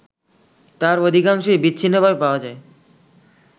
তার অধিকাংশই বিচ্ছিন্নভাবে পাওয়া যায়